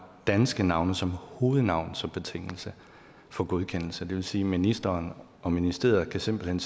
danske navne som hovednavn som betingelse for godkendelse det vil sige at ministeren og ministeriet simpelt hen